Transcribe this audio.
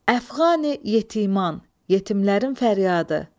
Əfqani yetiman, yetimlərin fəryadı.